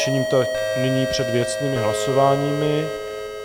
Činím tak nyní před věcnými hlasováními.